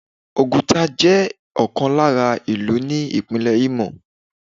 Oguta jẹ́ ọ̀kan lára ìlú ní Ìpínlẹ̀ Imo.